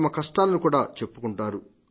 తమ కష్టాలను కూడా చెప్పుకుంటారు